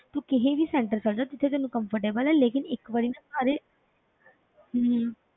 ਤੂੰ ਕਿਸੇ ਵੀ center ਚਲੇ ਜਾ ਜਿੱਥੇ ਤੈਨੂੰ comfortable ਹੈ ਲੇਕਿੰਨ ਇੱਕ ਵਾਰੀ ਨਾ ਸਾਰੇ ਹਮ